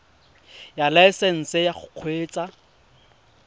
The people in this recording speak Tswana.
ya laesesnse ya go kgweetsa